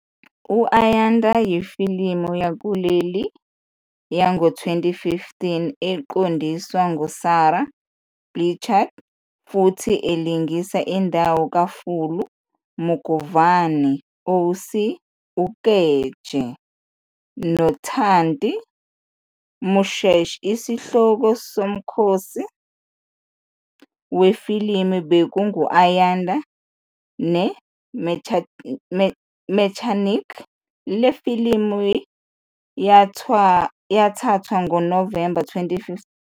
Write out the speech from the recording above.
U-Ayanda yifilimu yakuleli yango-2015 eqondiswa nguSara Blecher futhi elingisa indawo kaFulu Mugovhani, OC Ukeje, noNthati Moshesh. Isihloko somkhosi wefilimu bekungu-Ayanda neMechanic. Le filimu yathathwa ngoNovemba 2015 yinkampani ezimele yokusabalalisa amafilimu i-ARRAY. Ifilimu ithole ukubuyekezwa okuhle.